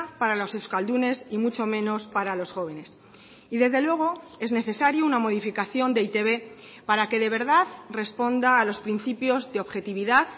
para los euskaldunes y mucho menos para los jóvenes y desde luego es necesario una modificación de e i te be para que de verdad responda a los principios de objetividad